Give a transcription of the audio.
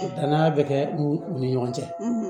Dannan bɛ kɛ u ni ɲɔgɔn cɛ